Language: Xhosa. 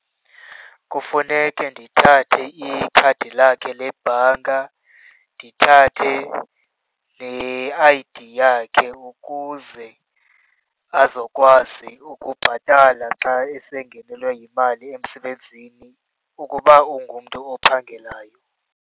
Kufuneke ndithathe ikhadi lakhe lebhanka, ndithathe ne-I_D yakhe ukuze azokwazi ukubhatala xa esengenelwe yimali emsebenzini, ukuba ungumntu ophangelayo.